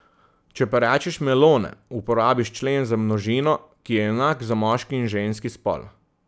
Če pa rečeš melone, uporabiš člen za množino, ki je enak za moški in ženski spol.